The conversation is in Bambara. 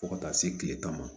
Fo ka taa se kile tan ma